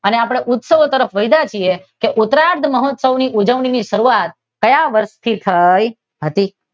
હવે આપડે ઉત્સવો તરફ વધ્યા છીએ કે ઉતરાધ મહોત્સવ ની ઉજવણી ની શરૂઆત ક્યાં વર્ષથી થઈ હતી?